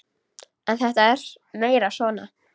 En þetta er meira svona.